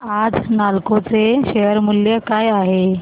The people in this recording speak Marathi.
आज नालको चे शेअर मूल्य काय आहे